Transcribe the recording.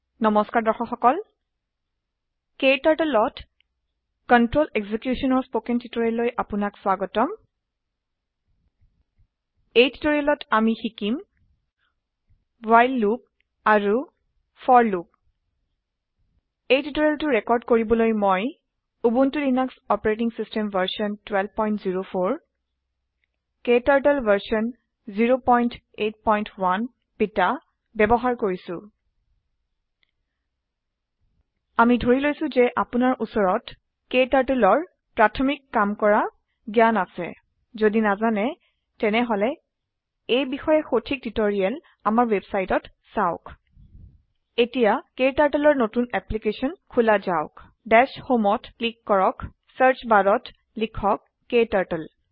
নম্সকাৰ দৰ্শক সকল KTurtleত কন্ট্ৰল এক্সিকিউশ্যন ৰ স্পকেন টিউটৰিয়েল লৈ আপোনাক স্বাগতম এই টিউটৰিয়েলত আমি শিকিম ৱ্হাইল লুপ আৰু ফৰ লুপ এই টিউটৰিয়েলটো ৰেৰ্কড কৰিবলৈ মই Ubuntu Linux OS version 1204 KTurtle version 081 beta বয়ৱহাৰ কৰিছো আমি ধৰি লৈছো যে আপোনাৰ উচৰত Kturtleৰ প্ৰথমিক কাম কৰা জ্ঞান আছে যদি নাজানে তেনেহলে এই বিষয়ে সঠিক টিউটৰিয়েল আমাৰ ৱেবচাইটত চাওক এতিয়া KTurtleৰ নতুন এপলিকেছনখোলা যাওক দাশ homeত ক্লীক কৰক চাৰ্চ barত লিখক ক্টাৰ্টল